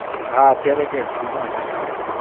હા અત્યારે કઈક free માં ચાલે છે.